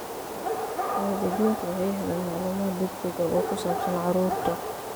Waalidiintu waxay helaan macluumaad degdeg ah oo ku saabsan carruurta.